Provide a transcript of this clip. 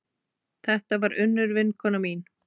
Þetta var Unnur vinkona mín.